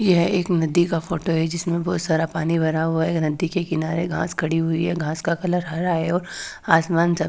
यह एक नदी का फोटो है जिसमें बहुत सारा पानी भरा हुआ है एक नदी के किनारे घास खड़ी हुई है घास का कलर हरा है और आसमान सा--